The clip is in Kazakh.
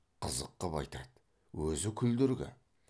қызық қып айтады өзі күлдіргі